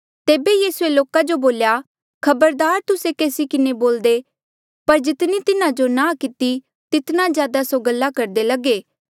तेबे यीसूए लोका जो बोल्या खबरदार तुस्से केसी किन्हें देख्या बोल्दे पर जितनी तिन्हा जो नांह किती तितना ज्यादा स्यों गल्ला करदे लगे